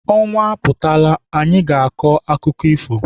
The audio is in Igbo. Ọnwa aputala, anyị na-aga ịkọ akụkọ ifo.